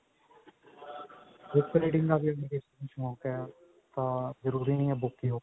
book reading ਦਾ ਜੇ ਅਗਰ ਸ਼ੋਂਕ ਹੈ ਤਾਂ ਜਰੂਰੀ ਨਹੀ ਹੈ book ਹੀ ਹੋਵੇ